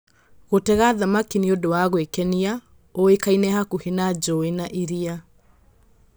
Gũtega thamaki nĩ ũndũ wa gwĩkenia ũĩkaine hakuhĩ na njũũĩ na iria.